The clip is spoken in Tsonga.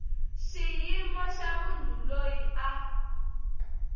xiyimo xa munhu loyi a